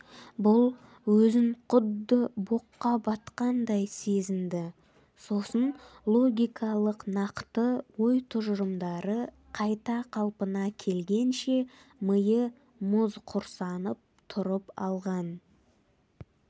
бұл өзін құдды боққа батқандай сезінді сосын логикалық нақты ой-тұжырымдары қайта қалпына келгенше миы мұз құрсанып тұрып алған